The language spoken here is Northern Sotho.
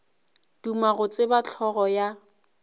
duma go tseba hlogo ya